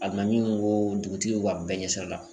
Alimami o dugutigi o a bɛɛ ɲɛ sira la